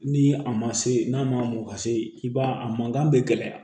Ni a ma se n'a ma mɔ ka se i b'a ye a mankan bɛ gɛlɛya